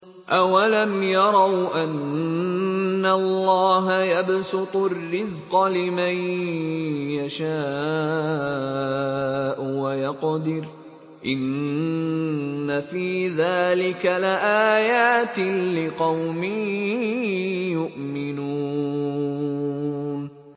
أَوَلَمْ يَرَوْا أَنَّ اللَّهَ يَبْسُطُ الرِّزْقَ لِمَن يَشَاءُ وَيَقْدِرُ ۚ إِنَّ فِي ذَٰلِكَ لَآيَاتٍ لِّقَوْمٍ يُؤْمِنُونَ